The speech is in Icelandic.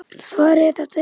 Svarið er: þetta eru lög!